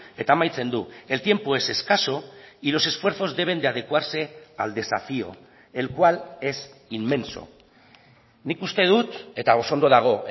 eta amaitzen du el tiempo es escaso y los esfuerzos deben de adecuarse al desafío el cual es inmenso nik uste dut eta oso ondo dago